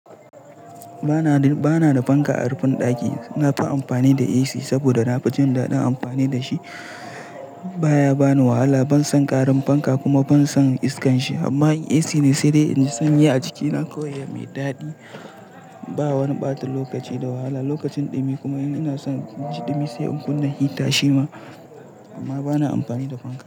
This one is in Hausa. Ba na, ba na da fanka a rufin ɗaki. Na fi amfani da AC saboda na fi jin daɗin amfani da shi. Ba ya ba ni wahala, ban san ƙarin fanka kuma ban san iskan shi. Amma in AC ne sai dai in ji sanyi a jiki. Na koyi yadda ya yi daɗi. Ba wani ɓata lokaci da wahala lokacin ɗumi kuma ina son jin ɗumi sai in kunna hita shi ma. Amma ba na amfani da fanka.